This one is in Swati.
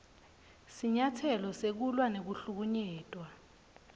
sinyatselo sekulwa nekuhlukunyetwa